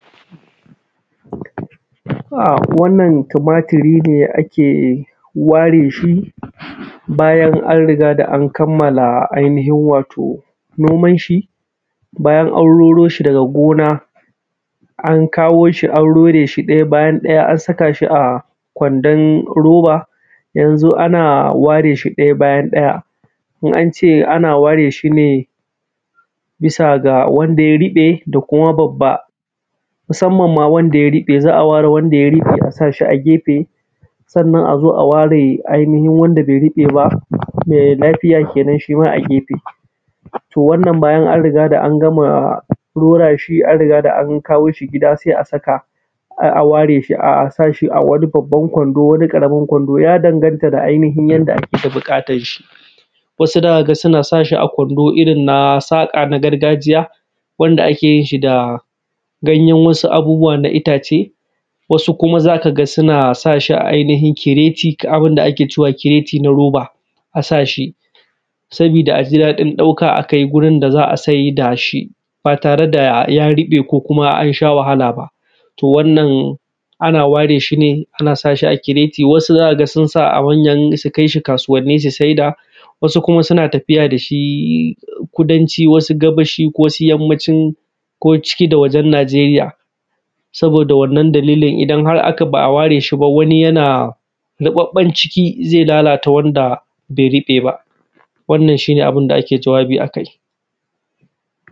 A, wanna tumatiri ne ake ware shi, bayan an riga da an kamala ainihin wato noman shi, bayan an roro shi daga gona, an kawo shi an rore shi ɗaya bayan ɗaya an saka shi a kwandon roba, yanzu ana ware shi ɗaya bayan ɗaya. In an ce ana ware shi ne bisa ga wanda ya riƃe da kuma babba, musamman ma wanda ya riƃe, za a ware wanda ya riƃe a sa shi a gefe. Sannan, a zo a ware ainihin wanda be riƃe ba, me lafiya kenan shi ma a gefe. To, wannan bayan an riga da an gama rora shi, an riga da an kawo shi gida, se a saka, a; a ware shi a sa shi a wani babban Kwando, wani ƙaramin Kwando. Ya danganta da ainihin yanda ake da biƙatan shi. Wasu za ka ga suna sa shi a Kwando irin na saƙa na gargajiya, wanda ake yin shi da ganyen wasu abubuwa na itace. Wasu kuma, z aka ga suna sa shi a ainihin kiretit, abin da ake cewa kireti na roba, a sa shi. Sabida da a ji daɗin ɗauka a kai gurin da za a saida shi ba tare da ya riƃe ko kuma an sha wahala ba. To, wannan, ana ware shi ne ana sa shi a kireti, wasu za ka sun sa a wanyan; su kai shi kasuwanni si saida, wasu kuma suna tafiya da shi Kudanci, wasu Gabashi ko su Yammacin, ko ciki da wajen Najeriya. Saboda da wannan dalilin, idan har aka; ba a ware shi ba wani yana; riƃaƃƃan ciki, ze lalata wanda be riƃe ba, wannan shi ne abin da ake jawabi a kai.